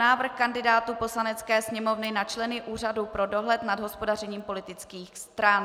Návrh kandidátů Poslanecké sněmovny na členy Úřadu pro dohled nad hospodařením politických stran